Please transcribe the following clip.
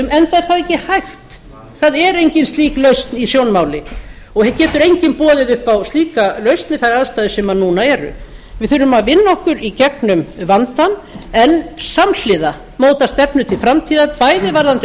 enda er það ekki hægt það er engin slík lausn í sjónmáli og það getur enginn boðið upp á slíka lausn við þær aðstæður sem núna eru við þurfum að vinna okkur í gegnum vandann en samhliða móta stefnu til framtíðar bæði varðandi